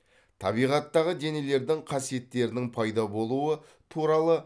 табиғаттағы денелердің қасиеттерінің пайда болуы туралы